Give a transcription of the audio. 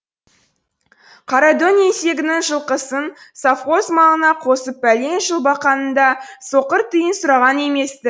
қарадөң еңсегеннің жылқысын совхоз малына қосып пәлен жыл баққанында соқыр тиын сұраған емес ті